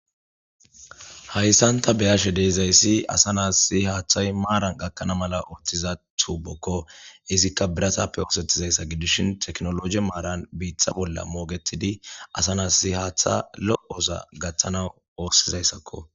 Hayssan ta beyashe deezayssi asa naas si haaththay maaran gakkana mala ooththiza tuubokko izikka biratappe oosettizayssa gidishin teknolog maaran biitha bolla moogetidi asa nas si haaththa lo'osa gaththana oossizayssakko